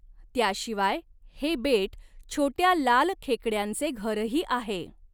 त्याशिवाय हे बेट छोट्या लाल खेकड्यांचे घरही आहे.